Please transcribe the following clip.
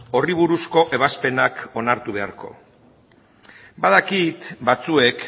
horri buruzko ebazpenak onartu beharko badakit batzuek